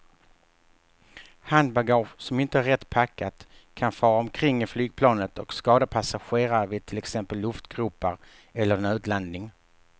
Handbagage som inte är rätt packat kan fara omkring i flygplanet och skada passagerare vid till exempel luftgropar eller nödlandning.